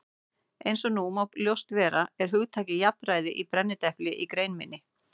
Eins og nú má ljóst vera er hugtakið jafnræði í brennidepli í grein minni.